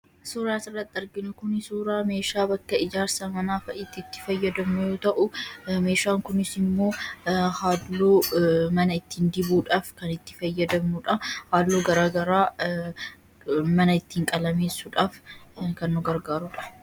Suuraa asirratti arginu kuni suuraa meeshaa bakka ijaarsa manaa fa'itti itti fayyadamnu yoo ta'u, meeshaan kunis immoo halluu mana ittiin dibuudhaaf kan itti fayyadamnuu dha. Halluu garaagaraa mana ittiin qalameessuudhaaf kan nu gargaaruu dha.